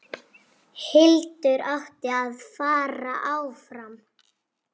Hildur átti að fara áfram!